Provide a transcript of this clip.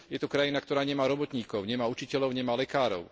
Je to krajina, ktorá nemá robotníkov, nemá učiteľov, nemá lekárov.